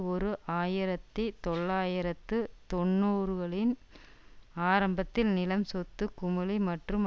ஓரு ஆயிரத்தி தொள்ளாயிரத்து தொன்னூறுகளின் ஆரம்பத்தில் நிலம் சொத்து குமிழி மற்றும்